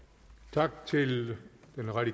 klart